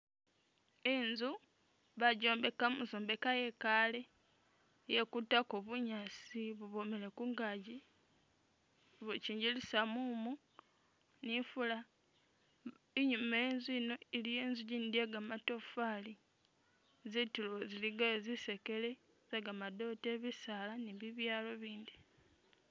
Inzu bajombeka muzombeka yekale, iyekutako bunyaasi bubwomele kungagi bukyingilisa mumu nifula, inyuma wenzu ino iliyo inzu i gindi i ye gamatofali, zitulo zi ligayo zisekele ze gamadote, bisaala ni bibyalo bindi